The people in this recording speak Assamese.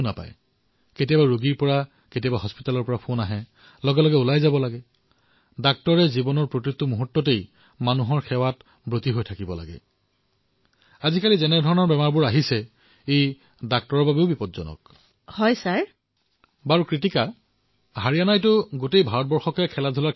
মহোদয় মোৰ মায়েই হল মোৰ সবাতোকৈ ডাঙৰ প্ৰেৰণা